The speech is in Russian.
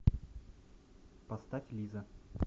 поставь лиза